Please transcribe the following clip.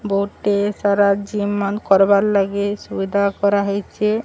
ବୋହୁତ୍ ଟେ ସାରା ଜିମ୍ ମାନ୍ କରବାର ଲାଗି ସୁବିଧା କରା ହେଇଚେ।